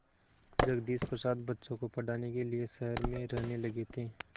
जगदीश प्रसाद बच्चों को पढ़ाने के लिए शहर में रहने लगे थे